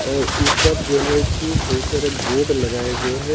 और ऊपर जो है कि बहुत सारे बोर्ड लगाए गए हैं।